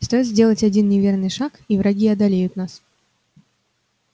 стоит сделать один неверный шаг и враги одолеют нас